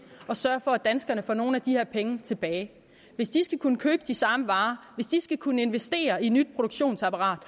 at sørge for at danskerne får nogle af de her penge tilbage hvis de skal kunne købe de samme varer skal kunne investere i nyt produktionsapparat